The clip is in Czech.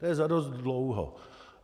To je za dost dlouho.